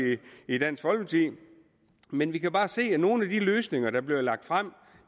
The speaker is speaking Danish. i dansk folkeparti men vi kan bare se at nogle af de løsninger der bliver lagt frem